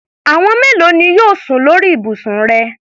Àwọn mélòo ni wọn yóò sùn lórí ibùsùn rẹ?